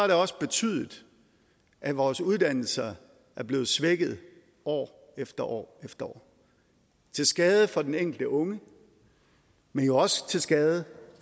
det også betydet at vores uddannelser er blevet svækket år efter år efter år til skade for den enkelte unge men jo også til skade